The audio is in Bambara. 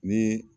Ni